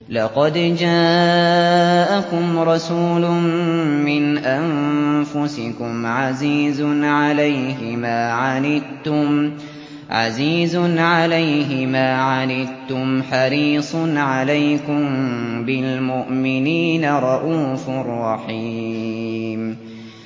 لَقَدْ جَاءَكُمْ رَسُولٌ مِّنْ أَنفُسِكُمْ عَزِيزٌ عَلَيْهِ مَا عَنِتُّمْ حَرِيصٌ عَلَيْكُم بِالْمُؤْمِنِينَ رَءُوفٌ رَّحِيمٌ